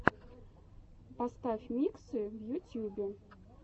поставь миксы в ютьюбе